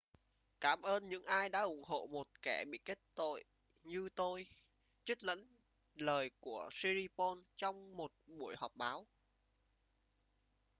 cảm ơn những ai đã ủng hộ một kẻ bị kết tội như tôi trích dẫn lời của siriporn trong một buổi họp báo